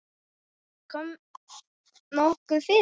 Kom nokkuð fyrir?